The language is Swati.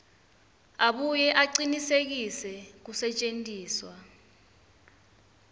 abuye acinisekise kusetjentiswa